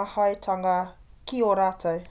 maheatanga ki a rātou